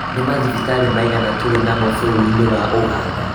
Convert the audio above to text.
Nĩ mathibitarĩ maigana tũrĩ namo bũrũri-inĩ wa Uganda?